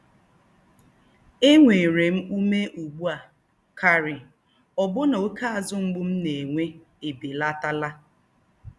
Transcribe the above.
Ènwéré m úmé ùgbù á kárì̀, òbù̀nà óké àzù̀ mgbú m nà-ènwé èbélátálà.